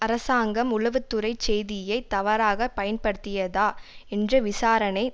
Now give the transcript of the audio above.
அரசாங்கம் உளவுத்துறைச் செய்தியைத் தவறாக பயன்படுத்தியதா என்ற விசாரணை